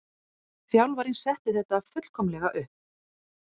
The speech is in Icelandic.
Þjálfarinn setti þetta fullkomlega upp.